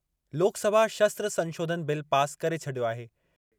लोकसभा शस्त्र संशोधन bill pass करे छॾियो आहे।